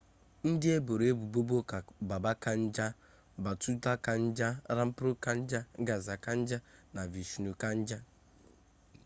ndị eboro ebubo bụ baba kanjar bhutha kanjar rampro kanjar gaza kanjar na vishnu kanjar